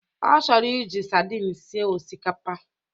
Ọ chọrọ iji sardin sie osikapa.